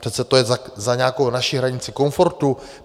Přece to je za nějakou naši hranici komfortu.